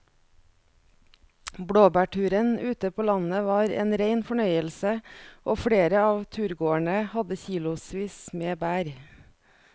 Blåbærturen ute på landet var en rein fornøyelse og flere av turgåerene hadde kilosvis med bær.